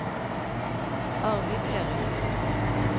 Arvid Erichsen